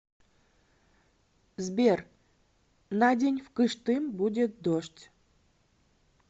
сбер на день в кыштым будет дождь